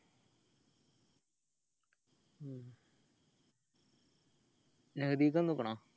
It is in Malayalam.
നഹദീക്കു വന്നിക്കിനോ